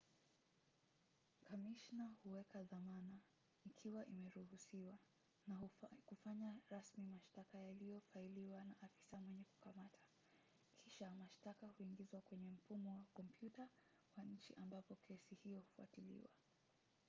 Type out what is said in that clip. kamishna huweka dhamana ikiwa imeruhusiwa na kufanya rasmi mashtaka yaliyofailiwa na afisa mwenye kukamata. kisha mashtaka huingizwa kwenye mfumo wa kompyuta wa nchi ambapo kesi hiyo hufuatiliwa